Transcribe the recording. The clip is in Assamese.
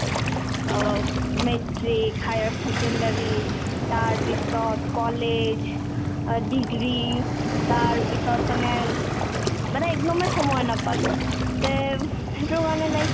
অব মেট্ৰিক higher secondary তাৰপিছত কলেজ অ degree তাৰপিছত মানে ওব মানে একদমে সময় নাপালো তে সেইতোৰ কাৰণে like